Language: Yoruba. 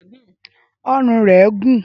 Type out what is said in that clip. Ọrùn rẹ̀ gún.